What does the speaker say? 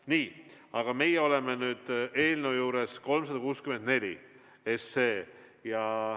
Nii, aga meie oleme nüüd eelnõu 364 juures.